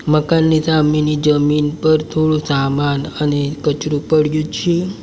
મકાનની સામેની જમીન પર થોડું સામાન અને કચરું પડ્યું છે.